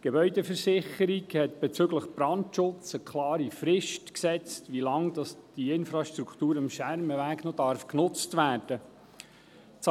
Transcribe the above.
Die Gebäudeversicherung Bern (GVB) hat bezüglich Brandschutz eine klare Frist gesetzt, wie lange die Infrastruktur am Schermenweg noch genutzt werden darf.